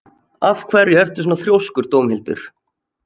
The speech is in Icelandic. Af hverju ertu svona þrjóskur, Dómhildur?